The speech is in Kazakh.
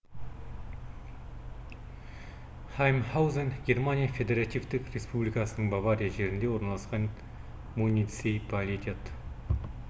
хаймхаузен германия федеративтік республикасының бавария жерінде орналасқан муниципалитет